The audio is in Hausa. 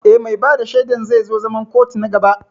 Eh, mai bada shaidan zai zo zaman kotun na gaba